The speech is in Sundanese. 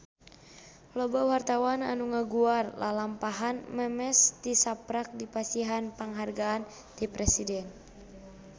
Loba wartawan anu ngaguar lalampahan Memes tisaprak dipasihan panghargaan ti Presiden